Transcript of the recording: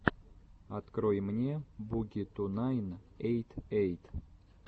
открой мне буги ту найн эйт эйт